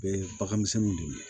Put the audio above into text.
U bɛ bagan misɛnninw don